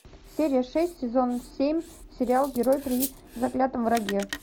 серия шесть сезон семь сериал герой при заклятом враге